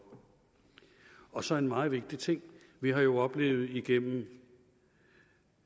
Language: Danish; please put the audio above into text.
og så en meget vigtig ting vi har jo oplevet igennem